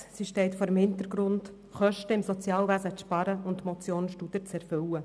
Die SHG-Revision steht vor dem Hintergrund, im Sozialwesen Kosten zu sparen und die Motion Studer zu erfüllen.